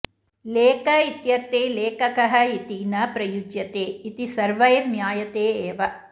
लेख इत्यर्थे लेखकः इति न प्रयुज्यते इति सर्वैर्ज्ञायते एव